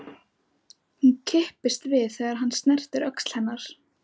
Hún kippist við þegar hann snertir öxl hennar.